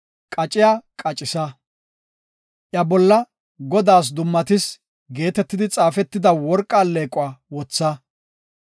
Qacciya qaccisa; iya bolla, ‘Godaas dummatis’ geetetidi xaafetida worqa alleequwa wotha.